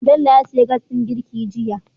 Bello ya siyo Gas din girki jiya